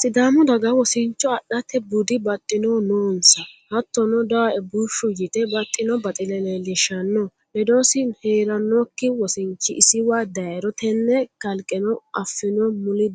Sidaamu daga wosicho adhate budi baxxinohu noonsa hattono dawoe bushshu yite baxxino baxile leellishano ledosi heeranokki wosinchi isiwa dayiro tene kalqeno affino mulli